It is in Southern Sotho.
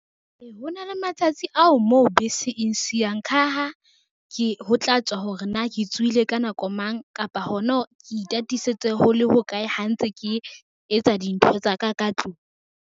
Ho na le matsatsi ao moo bese e ngsiang ka ha, ho tla tswa hore na ke tsuhile ka nako mang kapa hona hore ke itatisetse ho le ho kae ha ntse ke etsa dintho tsa ka ka tlung.